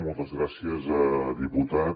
moltes gràcies diputat